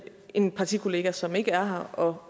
en partikollega som ikke er her og